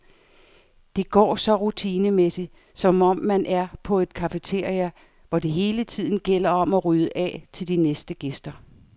Det går så rutinemæssigt, som om man er på et cafeteria, hvor det hele tiden gælder om at rydde af til de næste gæster.